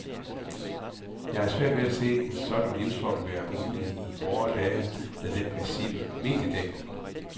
Jeg har svært ved at se en sådan livsform være mulig i vore dage med den massive mediedækning.